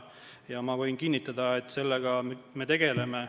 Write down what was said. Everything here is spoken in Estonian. Ma võin kinnitada, et me sellega tegeleme.